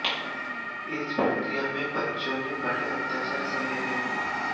इस प्रक्रिया में बच्चों ने बड़े अत्याचार सहे हैं